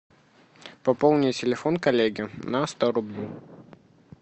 пополни телефон коллеги на сто рублей